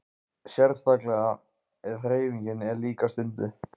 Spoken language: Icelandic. Sérstaklega ef hreyfing er líka stunduð.